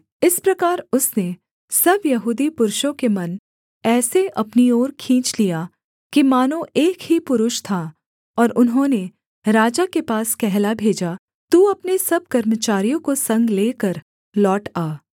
इस प्रकार उसने सब यहूदी पुरुषों के मन ऐसे अपनी ओर खींच लिया कि मानो एक ही पुरुष था और उन्होंने राजा के पास कहला भेजा तू अपने सब कर्मचारियों को संग लेकर लौट आ